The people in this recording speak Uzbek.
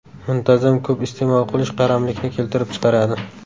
Muntazam ko‘p iste’mol qilish qaramlikni keltirib chiqaradi.